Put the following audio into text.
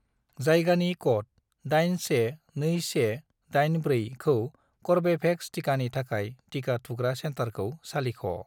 जायगानि क'ड 812184 जों कर्वेभेक्स टिकानि थाखाय टिका थुग्रा सेन्टारखौ सालिख'।